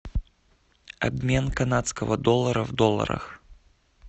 обмен канадского доллара в долларах